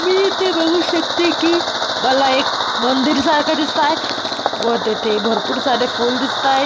मी इथे बघू शकते की मला एक मंदिरसारख दिसत आहे व तेथे भरपूर सारे फूल दिसताहेत.